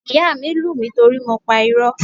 Ìyá mi lù mí torí mo pa irọ́.